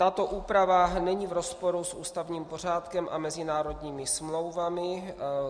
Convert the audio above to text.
Tato úprava není v rozporu s ústavním pořádkem a mezinárodními smlouvami.